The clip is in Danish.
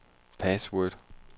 password